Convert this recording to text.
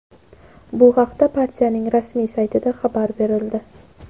Bu haqda partiyaning rasmiy saytida xabar berildi.